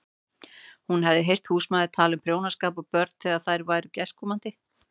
Hún hafði heyrt húsmæður tala um prjónaskap og börn þegar þær voru gestkomandi.